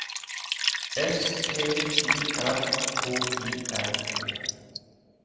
S T Y R K I N G